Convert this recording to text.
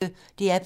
DR P1